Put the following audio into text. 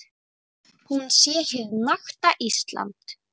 Hún sé hið nakta Ísland.